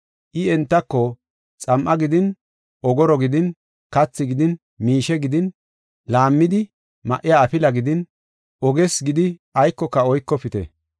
I entako, “Xam7a gidin ogoro gidin kathi gidin miishe gidin laammidi ma7iya afila gidin oges gidi aykoka oykofite.